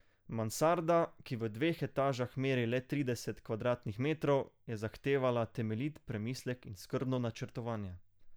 Mansarda, ki v dveh etažah meri le trideset kvadratnih metrov, je zahtevala temeljit premislek in skrbno načrtovanje.